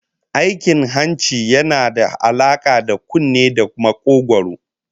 Aikin hanci yana da alaka da kunne da makogwaro